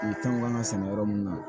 fɛnw kan ŋa sɛnɛ yɔrɔ mun na